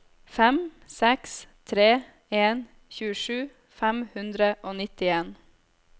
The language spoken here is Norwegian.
fem seks tre en tjuesju fem hundre og nittien